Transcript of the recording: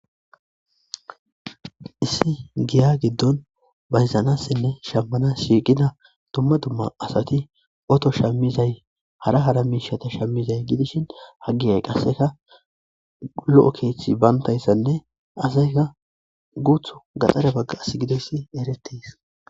Issi Giya giddon bayzanasinne shammanas giddi dumma dumma asatti Otto shamizay hara hara mishshatta shimiday gidishin aggiyay qasekka uqqulo keththi banttayssanne asaykka guuththo gatare bagga gidayssi erettes.